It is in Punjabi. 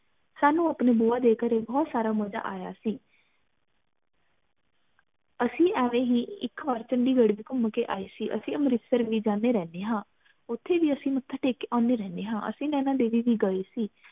ਸਾਨੂ ਆਪਣੇ ਬੁਆ ਦੇ ਘਰੇ ਬਹੁਤ ਸਾਰਾ ਮਜਾ ਆਯਾ ਸੀ ਅਸੀਂ ਐਵੇ ਹੀ ਇਕ ਵਾਰ ਚੰਡੀਗੜ੍ਹ ਵੀ ਘੁਮ ਕੇ ਆਏ ਸੀ ਅਸੀਂ ਅੰਮ੍ਰਿਤਸਰ ਵੀ ਜਾਣੇ ਰਹਿਣੇ ਹਾਂ, ਉਥੇ ਵੀ ਅਸੀਂ ਮੱਥਾ ਟੇਕ ਕੇ ਆਉਣੇ ਰਹਿਣੇ ਆ ਅਸੀਂ ਨੈਣਾ ਦੇਵੀ ਵੀ ਗਏ ਸੀ